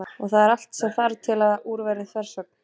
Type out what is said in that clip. Og það er allt sem þarf til að úr verði þversögn.